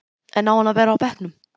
En á hann að vera á bekknum?